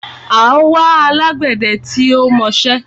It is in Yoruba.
À ń wá alágbẹdẹ tí ó mọṣẹ́